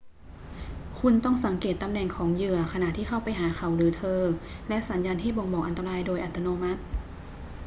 คุณต้องสังเกตตำแหน่งของเหยื่อขณะที่เข้าไปหาเขาหรือเธอและสัญญาณที่บ่งบอกอันตรายโดยอัตโนมัติ